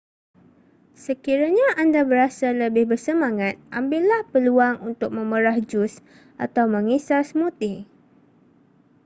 sekiranya anda berasa lebih bersemangat ambillah peluang untuk memerah jus atau mengisar smoothie